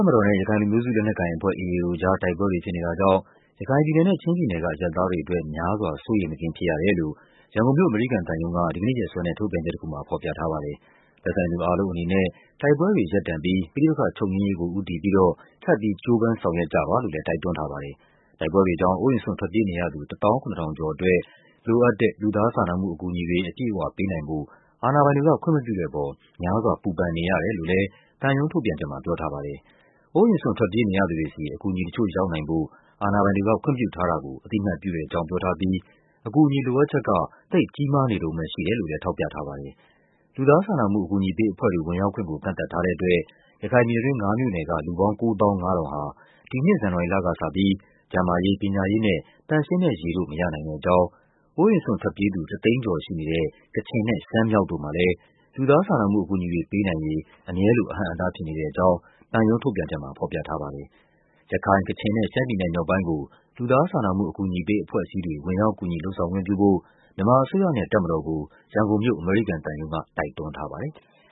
ပ်မတော်နဲ့ ရခိုင်လူမျိုးစု လက်နက်ကိုင်အဖွဲ့ AA တို့အကြား တိုက်ပွဲတွေဖြစ်နေတာမှာ ရခိုင်ပြည်နယ်နဲ့ ချင်းပြည်နယ်က အရပ်သားတွေအတွက် များစွာ စိုးရိမ်မကင်းဖြစ်ရတယ်လို့ ရန်ကုန်မြို့၊ အမေရိကန်သံရုံးက ဒီကနေ့ရက်စွဲနဲ့ ထုတ်ပြန်ချက်တခုမှာ ဖော်ပြထားပါတယ်။သက်ဆိုင်သူအားလုံးအနေနဲ့ တိုက်ပွဲတွေရပ်တန့်ပြီး ပဋိပက္ခချုပ်ငြိမ်းရေးကို ဦးတည်ပြီးတော့ ထပ်ပြီး ကြိုးပမ်းဆောင်ရွက်ကြပါလို့ လည်း တိုက်တွန်းထားပါတယ်။ တိုက်ပွဲတွေကြောင့် အိုးအိမ်စွန့်ထွက်ပြေးနေရသူ ၁၇,၀၀၀ ကျော်အတွက် လိုအပ်တဲ့ လူသားစာနာမှုအကူအညီတွေ အပြည့်အဝ ပေးနိုင်ဖို့ အာဏာပိုင်တွေက ခွင့်မပြုတဲ့အပေါ် များစွာ ပူပန်နေရတယ်လို့လည်း သံရုံးထုတ်ပြန်ချက်မှာ ပြောထားပါတယ်။ အိုးအိမ်စွန့်ထွက်ပြေးနေရသူတွေဆီ အကူအညီတချို့ ရောက်နိုင်ဖို့ အာဏာပိုင်တွေက ခွင့်ပြုထားတာကို အသိအမှတ်ပြုတဲ့ အကြောင်းပြောထားပြီး အကူအညီ လိုအပ်ချက်က သိပ်ကြီးမားနေတုန်းပဲရှိတယ်လို့လည်း ထောက်ပြထားပါတယ်။ လူသားစာနာမှုှုအကူအညီပေးအဖွဲ့တွေ ဝင်ရာက်ခွင့်ကို ကန့်သတ်ထားတဲ့အတွက် ရခိုင်ပြည်နယ်တွင်း ၅ မြို့နယ်က လူပေါင်း ၉၅,၀၀၀ ဟာ ဒီနှစ် ဇန်နဝါရီလကစပြီး ကျန်းမာရေး၊ ပညာရေးနဲ့ သန့်ရှင်းတဲ့ရေတို့ မရနိုင်တဲ့အကြောင်း၊ အိုးအိမ်စွန့်ထွက်ပြေးသူ ၁၀၀,၀၀ ကျော်ရှိနေတဲ့ ကချင်နဲ့ ရှမ်းမြောက်တို့မှာလည်း လူသားစာနာမှုအကူအညီတွေ ပေးနိုင်ရေး အမြဲလို အဟန့်အတား ဖြစ်နေတဲ့အကြောင်း သံရုံးထုတ်ပြန်ချက်မှာ ဖော်ပြထားပါတယ်။ ရခိုင်၊ ကချင်နဲ့ ရှမ်းပြည်နယ်မြောက်ပိုင်းကို လူသားစာနာမှုအကူအညီပေး အဖွဲ့အစည်းတွေ ဝင်ရောက် ကူညီလုပ်ဆောင်ခွင့်ပြုဖို့ မြန်မာအစိုးရနဲ့ တပ်မတော်ကို ရန်ကုန်မြို့၊ အမေရိကန်သံရုံးက တိုက်တွန်းထားပါတယ်။